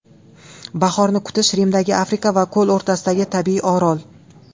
Bahorni kutish, Rimdagi Afrika va ko‘l o‘rtasidagi tabiiy orol.